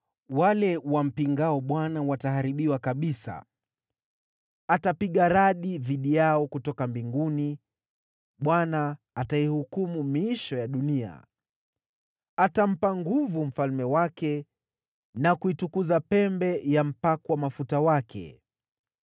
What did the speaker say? wale wampingao Bwana wataharibiwa kabisa. Atapiga radi dhidi yao kutoka mbinguni; Bwana ataihukumu miisho ya dunia. “Atampa nguvu mfalme wake, na kuitukuza pembe ya mpakwa mafuta wake.”